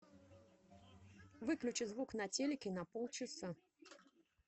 выключи звук на телике на полчаса